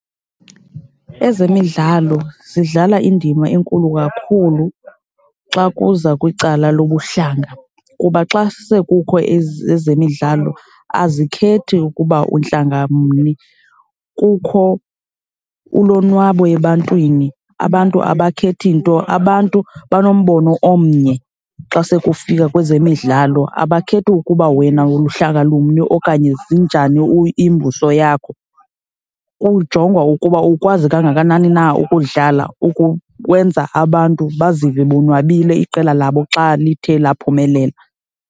Ezemidlalo zidlala indima enkulu kakhulu xa kuza kwicala lobuhlanga kuba xa sekukho ezemidlalo, azikhethi ukuba untlanga mni. Kukho ulonwabo ebantwini, abantu abakhethi nto. Abantu banombono omnye xa sekufika kwezemidlalo, abakhethi ukuba wena uluhlanga lumni okanye zinjani imbuso yakho, kujongwa ukuba ukwazi kangakanani na ukudlala ukwenza abantu bazive bonwabile iqela labo xa lithe laphumelela.